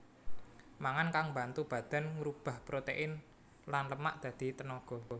Mangan kang mbantu badan ngrubah protèin lan lemak dadi tenaga